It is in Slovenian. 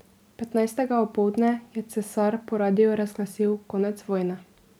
Petnajstega opoldne je cesar po radiu razglasil konec vojne.